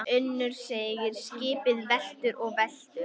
UNNUR: Skipið veltur og veltur.